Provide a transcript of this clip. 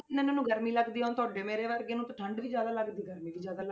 ਇਹਨਾਂ ਨੂੰ ਗਰਮੀ ਲੱਗਦੀ ਹੈ ਹੁਣ ਤੁਹਾਡੇ ਮੇਰੇ ਵਰਗੇ ਨੂੰ ਤੇ ਠੰਢ ਵੀ ਜ਼ਿਆਦਾ ਲੱਗਦੀ ਗਰਮੀ ਵੀ ਜ਼ਿਆਦਾ ਲੱਗਦੀ,